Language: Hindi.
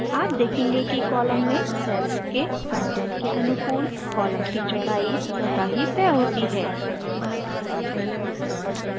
आप देखेंगे कि column में cells के कंटेंट के अनुकूल column की चौड़ाई स्वतः ही तय होती है